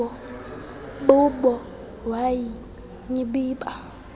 bubo wa nyibiba